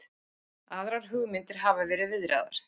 Aðrar hugmyndir hafa verið viðraðar